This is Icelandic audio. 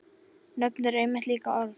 Nöfn eru einmitt líka orð.